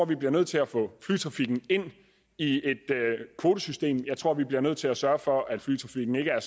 vi bliver nødt til at få flytrafikken ind i et kvotesystem jeg tror vi bliver nødt til at sørge for at flytrafikken ikke er